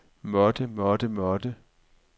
måtte måtte måtte